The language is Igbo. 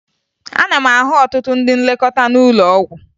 Ana m ahụ ọtụtụ ndị nlekọta n'ụlọ ọgwụ